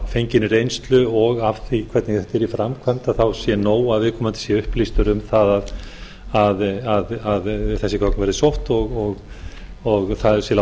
fenginni reynslu og af því að hvernig þetta er í framkvæmd þá sé nóg að viðkomandi sé upplýstur um það að þessi gögn verði sótt og það því látið duga ég